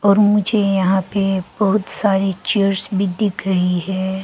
और मुझे यहां पे बहुत सारी चेयर्स भी दिख रही है।